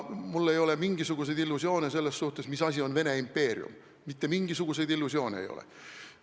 Mul ei ole mingisuguseid illusioone selles suhtes, mis asi on Vene impeerium, mitte mingisuguseid illusioone mul ei ole.